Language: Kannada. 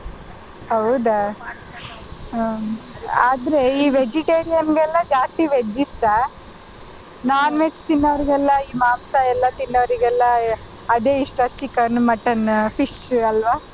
ಹೌದಾ ಹ್ಮ್‌ ಆದ್ರೆ ಈ vegetarian ಗೆಲ್ಲ ಜಾಸ್ತಿ veg ಇಷ್ಟ non-veg ತಿನ್ನೋರಿಗೆಲ್ಲ ಈ ಮಾಂಸಾ ಎಲ್ಲ ತಿನ್ನೋರಿಗೆಲ್ಲ ಅದೇ ಇಷ್ಟ chicken, mutton, fish ಅಲ್ವಾ.